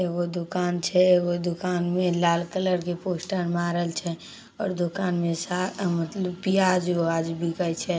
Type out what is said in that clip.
एगो दूकान छै एगो दूकान में लाल कलर के पोस्टर मारल छै और दूकान में सा मतलब प्याज व्याज बिके छै।